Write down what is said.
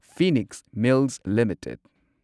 Phoenix mills limited